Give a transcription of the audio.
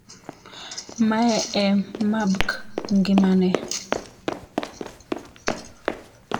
Mae e mabk ngimane.